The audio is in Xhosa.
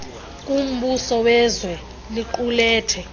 kumbuso wezwe liqulethe